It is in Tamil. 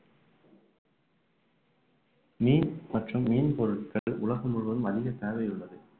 மீன் மற்றும் மீன் பொருட்கள் உலகம் முழுவதும் அதிக தேவை உள்ளது